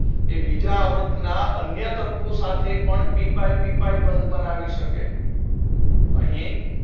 એ બીજા આવર્તના અન્ય તત્વો સાથે પણ પી પાઇ પી પાઇ બંધ બનાવી શકે અહી